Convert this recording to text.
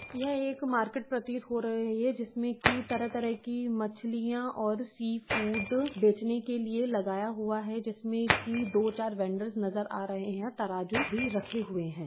यह एक मार्केट प्रतीत हो रही है जिस में की तरह-तरह की मछलियां और सी फूड बेचने के लिए लगाया हुआ जिसमें की दो चार वेंडर्स नजर आ रहे है तराजू भी रखे हुए हैं।